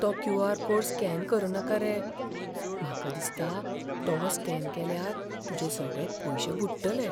तो Q. R. Code scan करनाका रे. म्हाका दिसता, तो स्कॅन केल्यार तुजे सगळें पयशे बुडटले.